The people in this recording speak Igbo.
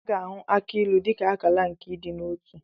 A ga-ahụ akị ilu dị ka akala nke ịdị n'otu.